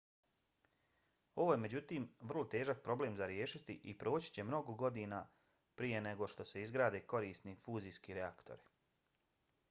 ovo je međutim vrlo težak problem za riješiti i proći će mnogo godina prije nego što se izgrade korisni fuzijski reaktori